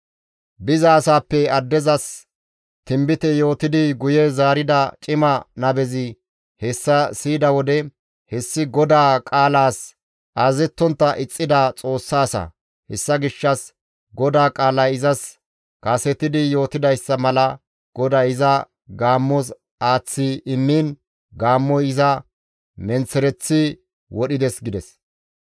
Bizasaappe addezas tinbite yootidi guye zaarida cima nabezi hessa siyida wode, «Hessi GODAA qaalaas azazettontta ixxida Xoossa asa. Hessa gishshas GODAA qaalay izas kasetidi yootidayssa mala GODAY iza gaammos aaththi immiin gaammoy iza menththereththi wodhides» gides.